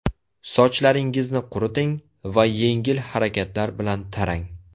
Sochlaringizni quriting va yengil harakatlar bilan tarang.